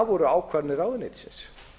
voru ákvarðanir ráðuneytisins